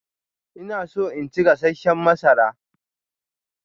Ina so in ci gasasshen masara.